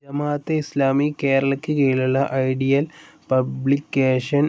ജമാഅത്തെ ഇസ്‌ലാമി കേരളക്ക് കീഴിലുള്ള ideal publication